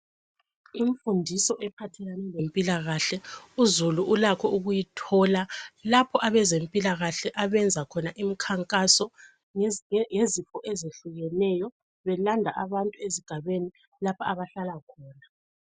Imfundiso ephathelane lempilakahle uzulu ulakho ukuyithola lapho abezempilakahle abenza khona imikhankaso ngezinto ezehlukeneyo belandaba abantu esigabeni lapha abahlala khona